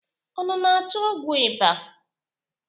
Unu na-achọ ọgwụ ịba?